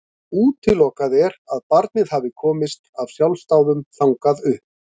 Útilokað er að barnið hafi komist af sjálfsdáðum þangað upp.